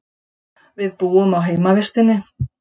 Við búum á heimavistinni.